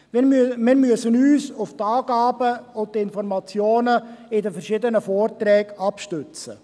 Wir müssen uns auf die Angaben und Informationen in den verschiedenen Vorträgen stützen.